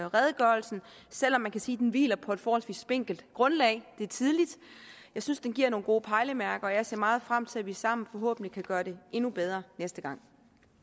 redegørelsen selv om man kan sige at den hviler på et forholdsvis spinkelt grundlag det er tidligt jeg synes den giver nogle gode pejlemærker og jeg ser meget frem til at vi sammen forhåbentlig kan gøre det endnu bedre næste gang